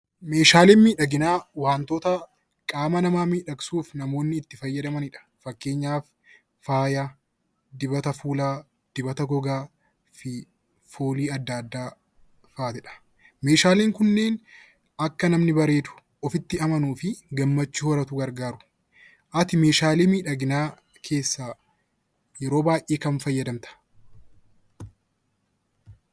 Meeshaaleen miidhaginaa wantoota qaama namaa miidhagsuuf namoonni itti fayyadamanidha. Fakkeenyaaf faaya, dibata fuulaa, dibata gogaa fi foolii adda addaa fa'aati. Meeshaaleen kunniin akka namni bareedu ofitti amanuu fi gammachuu horatu gargaaru. Ati meeshaalee miidhaginaa keessaa yeroo baay'ee kam fayyadamta?